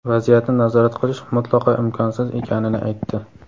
vaziyatni nazorat qilish mutlaqo imkonsiz ekanini aytdi.